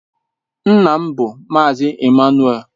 Nna m bụ Mazị Ịmmanuel.